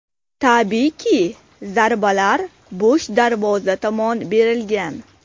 Tabiiyki, zarbalar bo‘sh darvoza tomon berilgan.